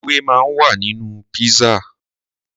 Ewé máa ń wà nínú pizza.